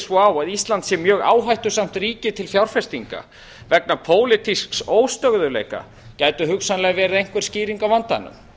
svo á að ísland sé mjög áhættusamt ríki til fjárfestinga vegna pólitísks óstöðugleika gæti hugsanlega verið einhver skýring á vandanum